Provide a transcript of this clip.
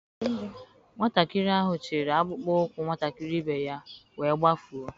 Nwatakịrị ahụ chịịrị akpụkpọ ụkwụ nwatakịrị ibe ya wee gbafuo.